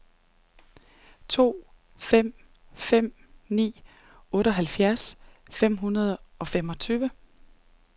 to fem fem ni otteoghalvfems fem hundrede og femogtyve